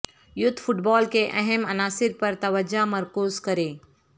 youth football کے اہم عناصر پر توجہ مرکوز کریں